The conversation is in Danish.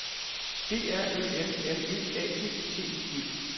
D R Ø M M E A G T I G